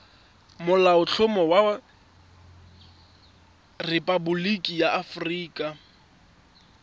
molaotlhomo wa rephaboliki ya aforika